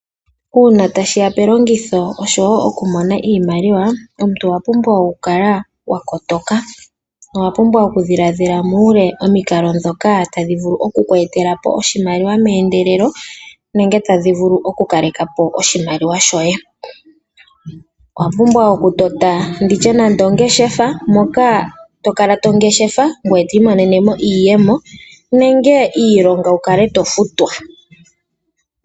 Uuna tashi ya pelongitho osho wo okumona iimaliwa, omuntu owa pumbwa okukala wa kotoka, nowa pumbwa oku dhiladhila muule omikalo ndhoka tadhi vulu oku ku etele oshimaliwa meendelelo nenge tadhi kaleke po oshimaliwa shoye. Owa pumbwa okutota ndi tye nande ongeshefa moka to kala tongeshefa ngweye to imonenemo iiyemo nenge iilonga wu kale to futwa.